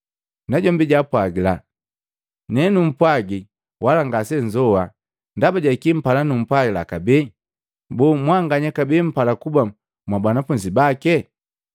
Najombi jaapwagila, “Nenumpwaji wala ngasenzoa. Ndaba ja kii mpala nupwajila kabee? Boo, namwanganya kabee mpala kuba mwa banafunzi bake?”